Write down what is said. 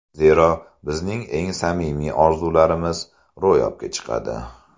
Zero, bizning eng samimiy orzularimiz ro‘yobga chiqadi!”.